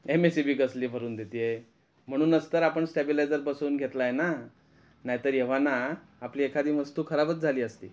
MSCB कसली भरून देते आहे, म्हणूनच तर आपण स्टॅबिलायझर बसवून घेतला आहेना नाही तर एव्हाना आपली एखादी वस्तू खराबच झाली असती.